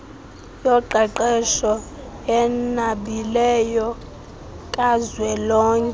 yoqeqesho enabileyo kazwelonke